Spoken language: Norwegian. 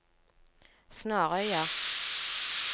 Snarøya